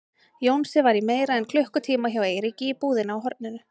Jónsi var í meira en klukkutíma hjá Eiríki í búðinni á horninu.